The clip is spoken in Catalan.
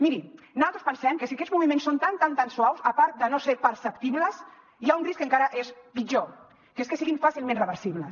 miri naltros pensem que si aquests moviments són tan tan tan suaus a part de no ser perceptibles hi ha un risc que encara és pitjor que és que siguin fàcilment reversibles